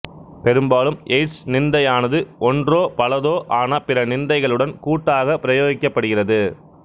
பெரும்பாலும் எயிட்சு நிந்தையானது ஒன்றோ பலதோ ஆன பிற நிந்தைகளுடன் கூட்டாகப் பிரயோகிக்கப்படுகிறது